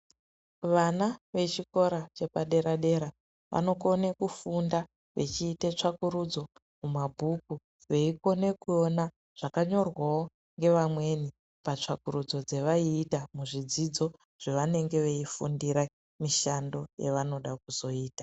Vana vechikora chepadera-dera vanokone kufunda vechiite tsvakururudzo mumabhuku. Veikone kuona zvakanyorwawo ngevamweni patsvakurudzo dzevaiita muzvidzidzo zvavanenge veifundira mishando yavanoda kuzoita.